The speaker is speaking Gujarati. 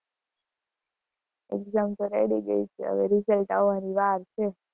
exam તો ready ગયી છે, હવે result આવવાની વાર છે.